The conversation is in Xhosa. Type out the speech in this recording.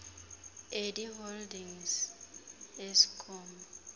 edi holdings ieskom